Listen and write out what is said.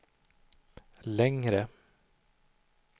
längre